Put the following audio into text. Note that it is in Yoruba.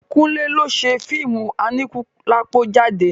Kúnlẹ́ ló ṣe fíìmù Aníkúlápó jáde.